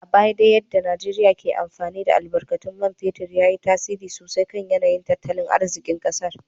A baya dai yadda Najeriyar ke amfani da albarkatun man fetur ya yi tasiri sosai kan yanayin tattalin arzikin kasar.